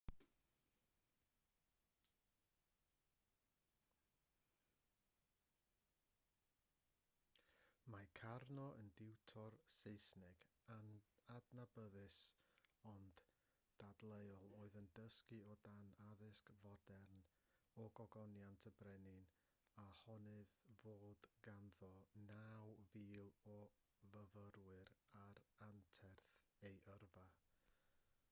mae karno yn diwtor saesneg adnabyddus ond dadleuol oedd yn dysgu o dan addysg fodern a gogoniant y brenin a honnodd fod ganddo 9,000 o fyfyrwyr ar anterth ei yrfa